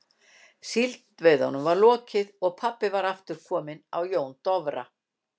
Síldveiðunum var lokið og pabbi var aftur kominn á Jón Dofra.